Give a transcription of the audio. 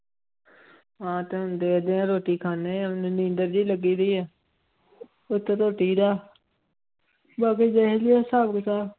ਹਾਂ ਤੇ ਦੇਖਦੇ ਹਾਂ ਰੋਟੀ ਖਾਂਦੇ ਹਾਂ ਨੀਂਦਰ ਜਿਹੀ ਲੱਗਦੀ ਹੈ ਉੱਤੋਂ ਰੋਟੀ ਦਾ ਬਾਕੀ ਦੇਖਦੇ ਹਾਂ ਹਿਸਾਬ ਕਿਤਾਬ।